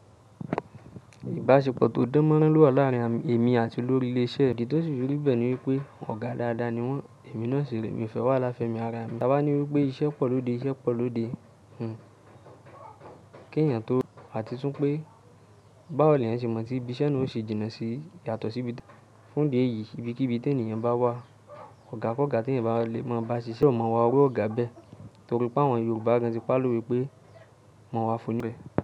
Ìbáṣepọ̀ tó dán mọ́rán lọ́wọ́ láàárín èmi àti olórí ilé iṣẹ́, idí tó ṣi firi bẹ̀ẹ́ ní wípé ọ̀gá dáadáa ni wọ́n, èmi náà sìre mi fe wahala fẹ́ mi ara mi, ta bá ní wípé iṣẹ́ pọ̀ lóde, iṣẹ́ pọ̀ lóde. Hhm kí ènìyàn tó, àti tún pé báwo ni èeyàn ṣe mọ̀ tí ibi iṣẹ́ náà ó ṣe jìnnà sí yàtọ̀ sí ibi fún idi eyìí, ibi kí bi tí ènìyàn bá wà, ọ̀gá kọ́ ọ̀gá tí ẹ̀eyan bá lè mọ̀ bá ṣiṣẹ́, so má iwa iru ọ̀gá bẹ́ẹ̀ torí pé àwọn Yorùbá gan ti pálọ̀ pé mọ̀ wá fún níbẹ̀